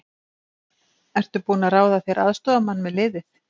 Ertu búinn að ráða þér aðstoðarmann með liðið?